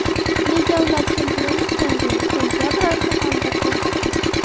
Nega ular chempionlik jangini sentabr oyiga qoldirdi?